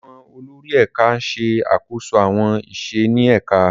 Àwọn olórí ẹ̀ka ń ṣe àkóso àwọn iṣẹ́ ní ẹ̀ka.